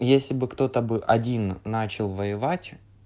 если бы кто-то бы один начал воевать